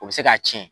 O bɛ se k'a tiɲɛ